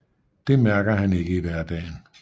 Det mærker han ikke i hverdagen